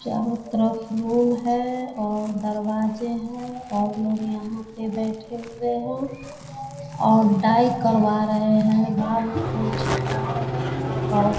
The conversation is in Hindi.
चार्रो तरफ लोग है और दरवाजे हैं और लोग यहाँ पे बैठे हुए हैं और डाई करवा रहे है बाल को छटवा रहे हैं और--